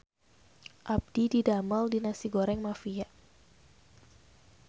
Abdi didamel di Nasi Goreng Mafia